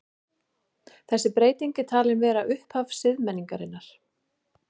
Þessi breyting er talin vera upphaf siðmenningarinnar.